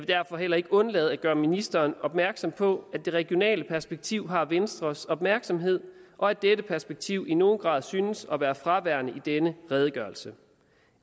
derfor heller ikke undlade at gøre ministeren opmærksom på at det regionale perspektiv har venstres opmærksomhed og at dette perspektiv i nogen grad synes at være fraværende i denne redegørelse